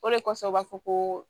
O de kɔsɔn u b'a fɔ ko